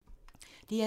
DR2